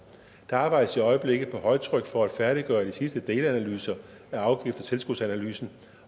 der arbejdes i øjeblikket på højtryk for at færdiggøre de sidste delanalyser af afgifts og tilskudsanalysen